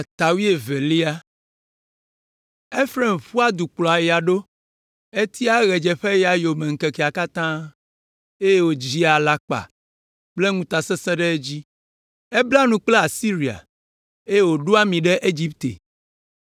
Efraim ƒua du kplɔa ya ɖo, etia ɣedzeƒeya yome ŋkekea katã, eye wòdzia alakpa kple ŋutasesẽ ɖe edzi. Ebla nu kple Asiria, eye wòɖo ami ɖe Egipte.